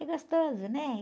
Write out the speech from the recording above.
É gostoso, né?